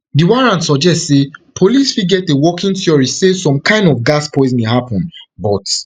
di warrant suggest say police fit get a working theory say some kind of gas poisoning happun but